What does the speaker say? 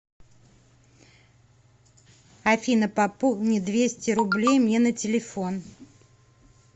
афина пополни двести рублей мне на телефон